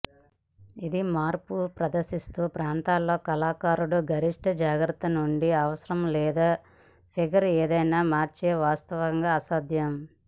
ఇది మార్పు ప్రదర్శిస్తూ ప్రాంతాల్లో కళాకారుడు గరిష్ట జాగ్రత్తతో నుండి అవసరం లేదా ఫిగర్ ఏదైనా మార్చే వాస్తవంగా అసాధ్యం